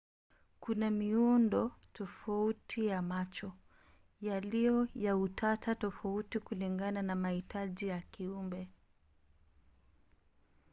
kuna miundo tofauti ya macho yaliyo ya utata tofauti kulingana na mahitaji ya kiumbe